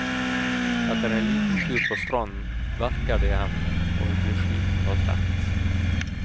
Etter en liten tur på stranden, verker det i hendene, og hun blir sliten og trett.